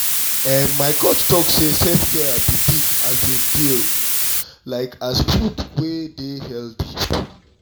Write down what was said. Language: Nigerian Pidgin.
ehn my coach talk say self-care be big um deal like as food wey dey healthy.